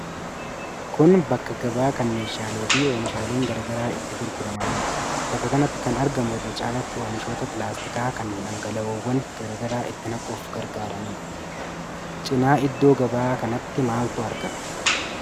Kun bakka gabaa kan meeshaalee fi oomishaaleen garaa garaa itti gurguramanidha. Bakka kanatti kan argamu irra caalaatti oomishoota pilaastikaa kan dhangala'oowwan garaa garaa itti naquuf gargaaraniidha. Cinaa iddoo gabaa kanaatti maaltu argama?